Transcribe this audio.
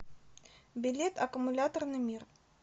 билет аккумуляторный мир